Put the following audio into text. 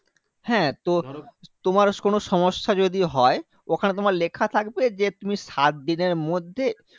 হ্যাঁ তো তোমার কোনো সমস্যা যদি হয়, ওখানে তোমার লেখা থাকবে যে, তুমি সাতদিনের মধ্যে